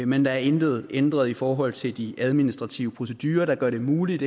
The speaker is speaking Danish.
men der er intet ændret i forhold til de administrative procedurer der gør det muligt